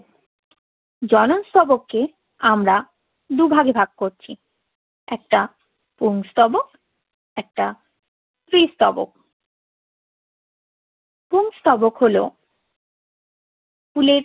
জনন স্তবককে আমরা দুভাগে ভাগ করছি। একটা পুংস্তবক, একটা স্ত্রী স্তবক পুংস্তবক হলো ফুলের